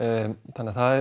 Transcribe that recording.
þannig að það